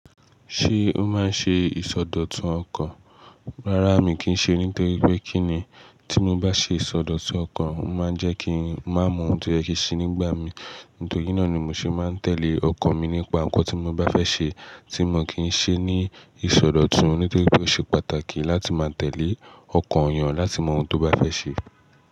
Ṣé o máa ń ṣe ìsọdọ̀tun ọkan? Rárá mii kì í ṣe nítori pé kí ni tí mo bá ṣe ìsọdọ̀tun ọkan, ó máa ń jẹ́ kí ń má mọ ohun tó yẹ kí n se nígbà mii. Nítorí náà ni mo ṣe máa ń tẹ̀lé ọkan mi nípa nkan tí mo bá fẹ́ ṣe tí mi o kí ń ṣee ní ìsọdọ̀tun nítori pé ó ṣe pàtàkì láti máa tẹ̀lé ọkan eeyan láti mọ ohun tó bá fẹ́ ṣe.